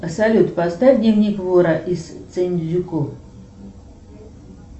салют поставь дневник вора из синдзюку